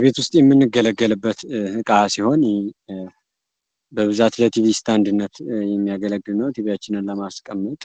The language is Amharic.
ቤት ውስጥ የምንገለገልበት እቃ ሲሆን በብዛት ለቲቪ እስታንድነት የሚያገለግል ቲቪያችንን ለማስቀመጥ